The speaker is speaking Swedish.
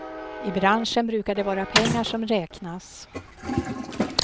I branschen brukar det vara pengar som räknas.